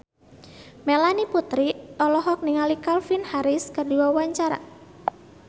Melanie Putri olohok ningali Calvin Harris keur diwawancara